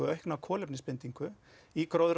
aukna kolefnisbindingu í